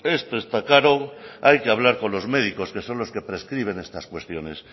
esto está caro hay que hablar con los médicos que son los que prescriben estas cuestiones